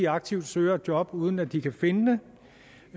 aktivt søger et job uden at de kan finde